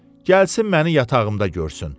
Gəlsin məni yatağımda görsün.